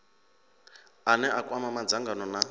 ane a kwama madzangano na